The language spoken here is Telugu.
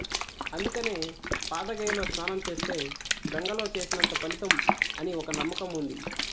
అందుకనే పాదగయలో స్నానం చేస్తే గంగలో చేసినంత ఫలితం అని ఒక నమ్మకం ఉంది